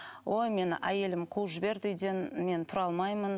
ой мені әйелім қуып жіберді үйден мен тұра алмаймын